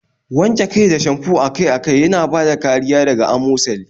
Wanke kai da shamfo akai-akai yana bada kariya daga amosali